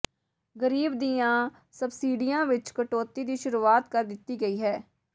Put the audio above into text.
ਗ਼ਰੀਬ ਦੀਆਂ ਸਬਸਿਡੀਆਂ ਵਿੱਚ ਕਟੌਤੀ ਦੀ ਸ਼ੁਰੂਆਤ ਕਰ ਦਿੱਤੀ ਗਈ ਹੈ